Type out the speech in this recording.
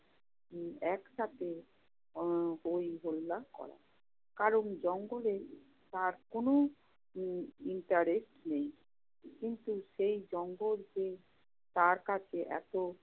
উম একসাথে উম হই-হুল্লা করে। কারণ জঙ্গলে তার কোন উম interest নেই। কিন্তু সেই জঙ্গল যে তার কাছে এত